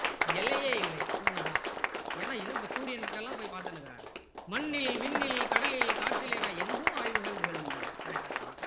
எல்லையே இல்லை உண்ம தான் ஏன்னா இன்னும் இப்போ சூரியனுக்குலாம் போய் பார்த்துன்னு இருக்காங்க மண்ணில் விண்ணில் கடலில் காற்றில் என எங்கும் ஆய்வுகள் நிகழ்கின்றன correct தான்